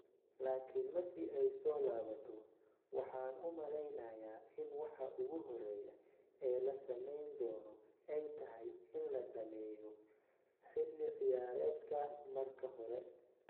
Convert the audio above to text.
Laakiin markii ay soo laabato, waxaan u maleynayaa in waxa ugu horreeya ee la sameyn doono ay tahay in la dhammeeyo xilli ciyaareedkan marka hore.